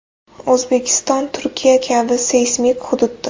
O‘zbekiston Turkiya kabi seysmik hududdir.